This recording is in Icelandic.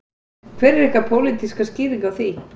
Hver er ykkar pólitíska skýring á því?